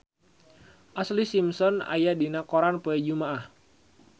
Ashlee Simpson aya dina koran poe Jumaah